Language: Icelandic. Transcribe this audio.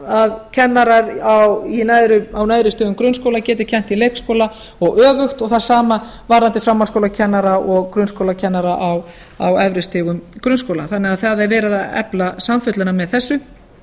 að kennarar á neðri stigum grunnskóla geti kennt í leikskóla og öfugt og það sama varðandi framhaldsskólakennara og grunnskólakennara á efri stigum grunnskóla þannig að það er verið að efla samfelluna með þessu